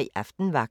22:03: Aftenvagten